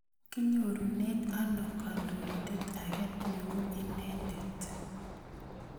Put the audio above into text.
Kinyorune ano kandoindet ake ne u inendet?